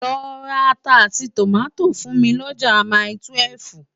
Lò rá àtá áti tómátó fún mi lòjá máitúèf